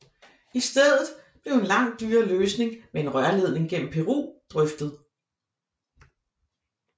I stedet blev en langt dyrere løsning med en rørledning gennem Peru drøftet